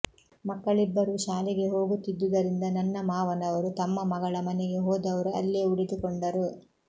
ಮಕ್ಕಳಿಬ್ಬರೂ ಶಾಲೆಗೆ ಹೋಗುತ್ತಿದ್ದುದರಿಂದ ನನ್ನ ಮಾವನವರು ತಮ್ಮ ಮಗಳ ಮನೆಗೆ ಹೋದವರು ಅಲ್ಲೇ ಉಳಿದುಕೊಂಡರು